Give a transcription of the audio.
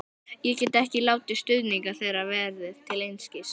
Ég get ekki látið stuðning þeirra verða til einskis.